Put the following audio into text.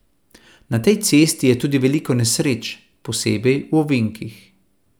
Na tej cesti je tudi veliko nesreč, posebej v ovinkih.